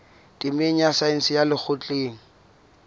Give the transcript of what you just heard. temeng ya saense ya lekgotleng